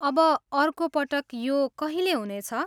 अब अर्को पटक यो कहिले हुनेछ?